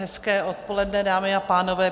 Hezké odpoledne, dámy a pánové.